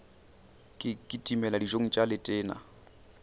ke kitimele dijong tša letena